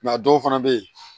a dɔw fana bɛ yen